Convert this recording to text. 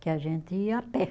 Que a gente ia a pé.